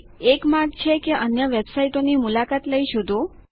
એક માર્ગ છે કે અન્ય વેબસાઈટોની મુલાકાત લઇ શોધો